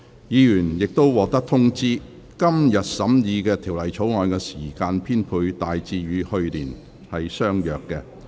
議員已獲通知，今年審議《條例草案》的時間編配大致與去年相若。